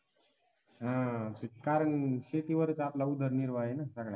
हा कारण शेतीवरच आपला उदरनिर्वाह आहे ना